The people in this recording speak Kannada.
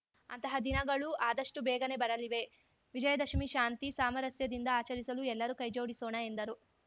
ಅಂತಹ ದಿನಗಳೂ ಆದಷ್ಟುಬೇಗನೆ ಬರಲಿವೆ ವಿಜಯದಶಮಿ ಶಾಂತಿ ಸಾಮರಸ್ಯದಿಂದ ಆಚರಿಸಲು ಎಲ್ಲರೂ ಕೈಜೋಡಿಸೋಣ ಎಂದರು